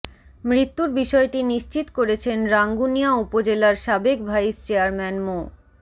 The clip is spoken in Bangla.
মৃত্যুর বিষয়টি নিশ্চিত করেছেন রাঙ্গুনিয়া উপজেলার সাবেক ভাইস চেয়ারম্যান মো